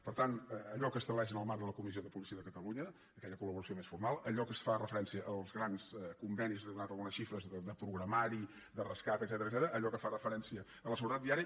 per tant allò que s’estableix en el marc de la comissió de policia de catalunya aquella col·laboració més formal allò que fa referència als grans convenis li he donat algunes xifres de programari de rescat etcètera allò que fa referència a la seguretat viària